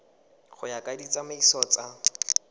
go ya ka ditsamaiso tsa